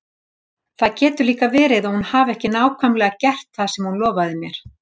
Það getur líka verið að hún hafi ekki nákvæmlega gert það sem hún lofaði mér.